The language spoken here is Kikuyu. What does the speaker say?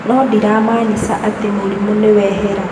No ndĩramaanica atĩ murimũ nĩ we hera